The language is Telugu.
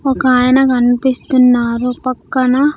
ఒక ఆయన కనిపిస్తున్నారు పక్కన.